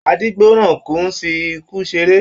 Adígbọ̀nrànkùn n fí ikú seré.